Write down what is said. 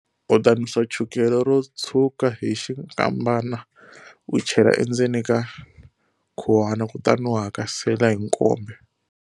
U ta nusa chukele ro tshwuka hi xinkambana u chela endzeni ka khuwana kutani u hakasela hi nkombe.